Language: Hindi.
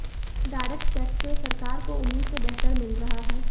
डायरेक्ट टैक्स से सरकार को उम्मीद से बेहतर मिल रहा है